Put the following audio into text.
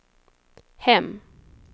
hem